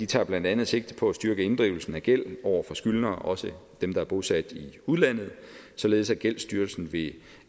tager blandt andet sigte på at styrke inddrivelsen af gæld over for skyldnere også dem der er bosat i udlandet således at gældsstyrelsen ved